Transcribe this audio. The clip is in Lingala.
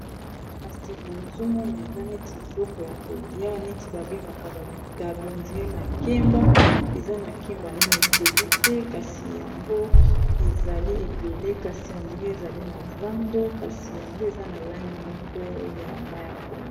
kasi boyo ezomona eza neti biloko ya kolia neti babengaka babitabe to makemba eza makemba, ezali ebele kasi ezali na zando kasi yango eza na langi moko ya Mai ya pondu.